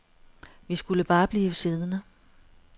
Vi skulle bare blive siddende.